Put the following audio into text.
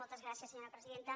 moltes gràcies senyora presidenta